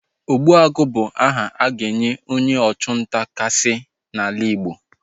Ogbuagu bụ aha a ga-enye onye ọchụ nta kachasị n'ala Igbo